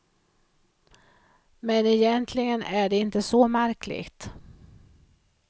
Men egentligen är det inte så märkligt.